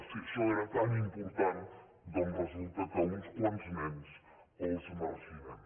si això era tan important doncs resulta que uns quants nens els marginem